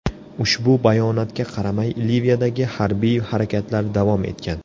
Ushbu bayonotga qaramay Liviyadagi harbiy harakatlar davom etgan.